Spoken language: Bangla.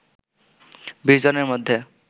২০ জনের মধ্যে